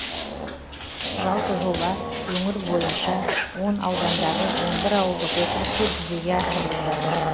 жалпы жоба өңір бойынша он аудандағы он бір ауылдық округте жүзеге асырылып жатыр